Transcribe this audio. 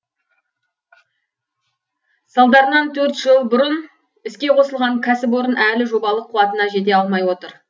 салдарынан төрт жыл бұрын іске қосылған кәсіпорын әлі жобалық қуатына жете алмай отыр